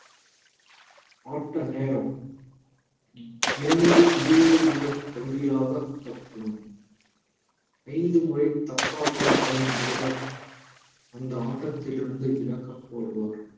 ஆட்ட நேரம் இரண்டு இருபது நிமிட பகுதிகளாக ஆடப்படும் ஐந்து முறை தப்பாட்டம் ஆடும் வீரர் அந்த ஆட்டத்திலிருந்து விலக்கப் படுவார்